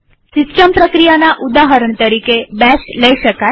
system પ્રક્રિયાના ઉદાહરણ તરીકે બેશ લઇ શકાય